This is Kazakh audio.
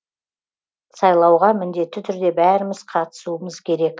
сайлауға міндетті түрде бәріміз қатысуымыз керек